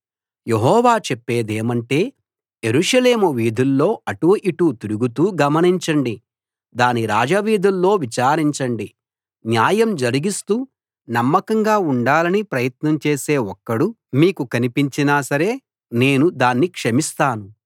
యెహోవా చెప్పేదేమంటే యెరూషలేము వీధుల్లో అటూ ఇటూ తిరుగుతూ గమనించండి దాని రాజవీధుల్లో విచారించండి న్యాయం జరిగిస్తూ నమ్మకంగా ఉండాలని ప్రయత్నం చేసే ఒక్కడు మీకు కనిపించినా సరే నేను దాన్ని క్షమిస్తాను